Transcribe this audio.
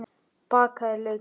Bakaðir laukar